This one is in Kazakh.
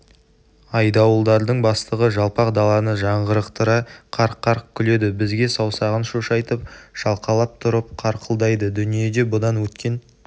айдауылдардың бастығы жалпақ даланы жаңғырықтыра қарқ-қарқ күледі бізге саусағын шошайтып шалқалап тұрып қарқылдайды дүниеде бұдан өткен